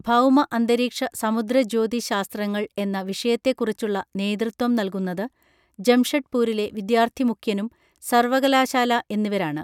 ഭൗമ അന്തരീക്ഷ സമുദ്ര ജ്യോതി ശാസ്ത്രങ്ങൾ എന്ന വിഷയത്തെ കുറിച്ചുള്ള നേതൃത്വം നൽകുന്നത് ജംഷെഡ്പൂരിലെ വിദ്യാർത്ഥി മുഖ്യനും സർവകലാശാല എന്നിവരാണ്